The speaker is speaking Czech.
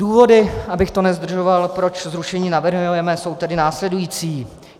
Důvody, abych to nezdržoval, proč zrušení navrhujeme, jsou tedy následující.